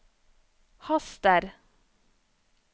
haster